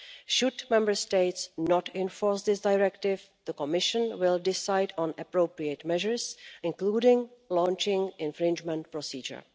Should Member States not enforce this directive, the Commission will decide on appropriate measures, including the launching of an infringement procedure.